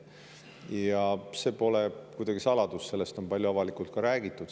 Ja see pole kuidagi saladus, sellest on palju avalikult räägitud.